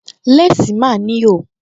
Léèsì máa ń ní ihò